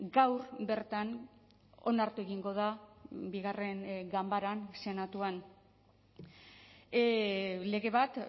gaur bertan onartu egingo da bigarren ganbaran senatuan lege bat